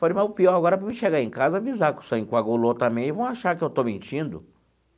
Falei, mas o pior agora para mim chegar em casa e avisar que o sangue coagulou também, vão achar que eu estou mentindo.